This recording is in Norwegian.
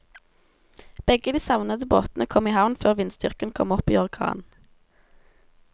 Begge de savnede båtene kom i havn før vindstyrken kom opp i orkan.